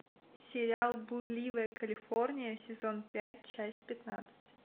сериал блудливая калифорния сезон пять часть пятнадцать